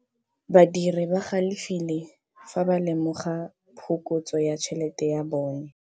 Badiri ba galefile fa ba lemoga phokotsô ya tšhelête ya bone.